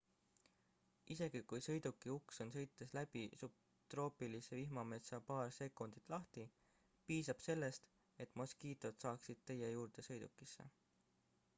isegi kui sõiduki uks on sõites läbi subtroopilise vihmametsa paar sekundit lahti piisab sellest et moskiitod saaksid teie juurde sõidukisse